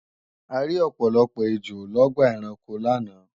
A rí ọ̀pọ̀lọpọ̀ ejò lọ́gbà ẹranko láàná